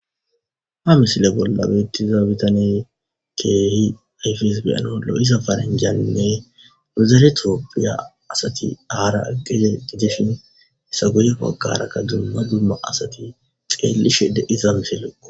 ha misile bolla beettiza bitaney keehi efes beyenollo7iza faranjannne muzaretropphiya asati aara aggeze giteshin hesa guyekakarakka dumma dumma asati xeellishe de iza misilleqo